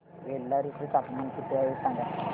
बेल्लारी चे तापमान किती आहे सांगा